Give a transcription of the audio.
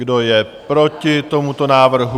Kdo je proti tomuto návrhu?